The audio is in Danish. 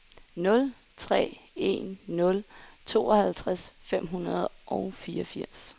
nul tre en nul tooghalvtreds fem hundrede og fireogfirs